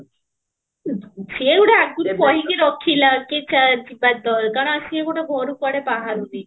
ସିଏ ଗୋଟେ ଆଗରୁ କହିକି ରଖିଲା କି ଚାଲ ଯିବା ତ କାରଣ ସିଏର ଗୋଟେ ଘରୁ କୁଆଡେ ବାହାରୁନି